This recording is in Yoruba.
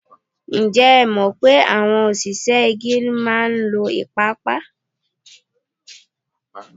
Ǹjẹ́ ẹ mọ̀ pé àwọn òṣìṣẹ́ igi máa ń lo ìpapa?